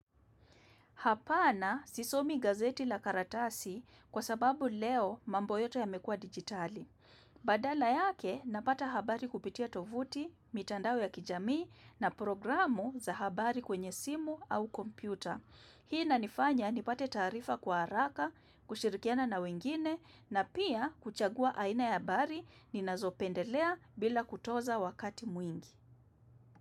Hapana sisomi gazeti la karatasi kwa sababu leo mambo yote yamekua dijitali. Badala yake napata habari kupitia tovuti, mitandao ya kijamii na programu za habari kwenye simu au kompyuta. Hii inanifanya nipate taarifa kwa haraka, kushirikiana na wengine na pia kuchagua aina ya habari ni nazopendelea bila kutoza wakati mwingi.